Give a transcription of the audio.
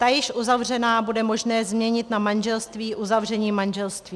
Ta již uzavřená bude možné změnit na manželství uzavřením manželství.